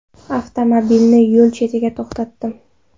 Avtomobilni yo‘l chetida to‘xtatdim.